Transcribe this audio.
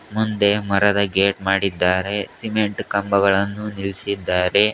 ಮುಂದೆ ಮರದ ಗೇಟ್ ಮಾಡಿದ್ದಾರೆ ಸಿಮೆಂಟ್ ಕಂಬಗಳನ್ನು ನಿಲ್ಸಿದ್ದಾರೆ.